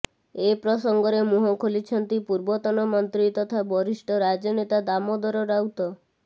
ଏ ପ୍ରସଙ୍ଗରେ ମୁଁହ ଖୋଲିଛନ୍ତି ପୂର୍ବତନ ମନ୍ତ୍ରୀ ତଥା ବରିଷ୍ଠ ରାଜନେତା ଦାମୋଦର ରାଉତ